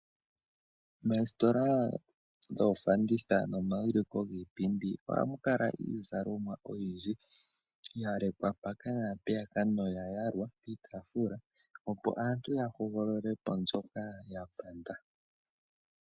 Moositola dhoofanditha nomaulikilo giipindi ohamu kala iizalomwa oyindji ya lekwa noya yalwa kiitaafula opo aantu ya hogolole po mbyoka ya panda.